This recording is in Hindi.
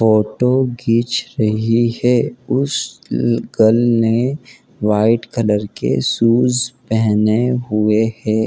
फोटो खींच रही है उस गर्ल ने वाइट कलर के शूज पेहेने हुए हैं।